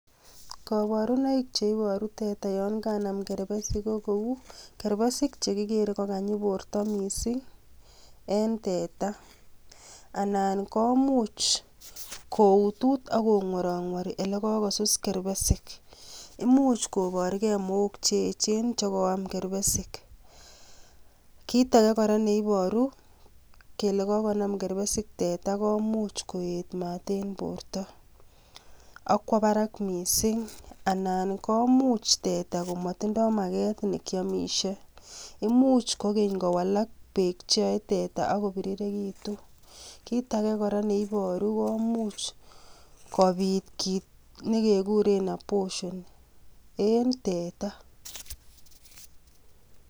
Koborunoik cheiboru teta yoon kanam kerbesik ko kouu kerbesik chekikere kokanyi borto mising en teta anan komuch koutut ak kong'worong'wori elekosus kerbesik, imuch koborkee mook cheechen chekoam kerbesik, kiit akee kora neiboru kelee konam teta kerbesik komuch koet maat en borto ak kwoo barak mising anan komuch komotindo makeet nekiomishe, imuch kokeny kowalak beek cheyoe teta ak kobirirekitu, kiit akee neiboru komuch kobiit kiit nekekuren abortion en teta.